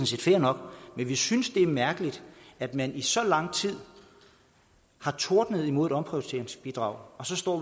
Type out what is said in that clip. set fair nok men vi synes det er mærkeligt at man i så lang tid har tordnet mod et omprioriteringsbidrag og så står